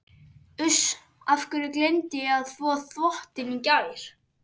Uss. af hverju gleymdi ég að þvo þvottinn í gær?